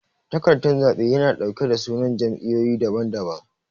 takardan zabe yana dauke da sunan jam'iyoyi dabam dabam.